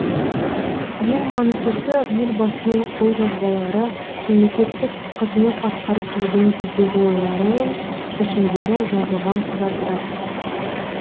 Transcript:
ең маңыздысы елбасының қолжазбалары мемлекеттік қызмет атқарып жүрген кездегі ойлары мен шешімдері жазылған құжаттар